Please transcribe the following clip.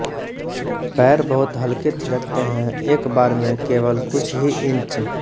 पैर बहुत हलके थिरकते हैं एक बार में केवल कुछ ही इंच